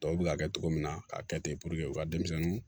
Tɔw bɛ ka kɛ cogo min na k'a kɛ ten u ka denmisɛnninw